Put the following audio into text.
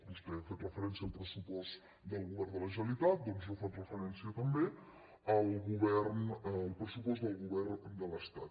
vostè ha fet referència al pressupost del govern de la generalitat doncs jo faig referència també al pressupost del govern de l’estat